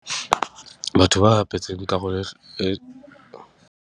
Batho ba bapetseng karole e .